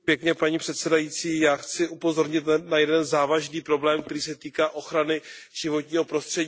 Já chci upozornit na jeden závažný problém, který se týká ochrany životního prostředí v EU.